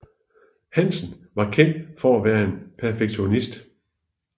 Hansen var kendt for at være en perfektionist